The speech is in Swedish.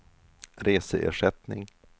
reseersättning